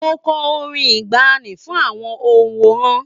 Mo kọ orin ìgbaanì fún àwọn òǹwòran.